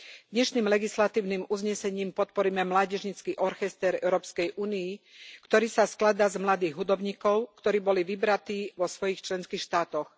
Dnešným legislatívnym uznesením podporíme mládežnícky orchester Európskej únie, ktorý sa skladá z mladých hudobníkov, ktorí boli vybratí vo svojich členských štátoch.